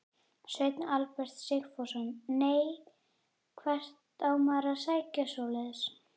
Sveinn Albert Sigfússon: Nei, hvert á maður að sækja svoleiðis?